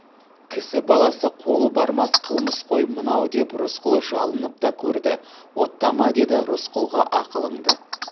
кісі баласы қолы бармас қылмыс қой мынау деп рысқұл жалынып та көрді оттама деді рысқұлға ақылыңды